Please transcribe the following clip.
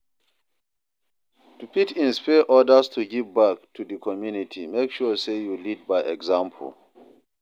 To fit inspire others to give back to di community make sure say you lead by example